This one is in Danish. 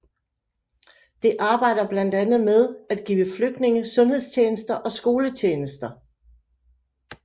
Det arbejder blandt andet med at give flygtningene sundhedstjenester og skoletjenester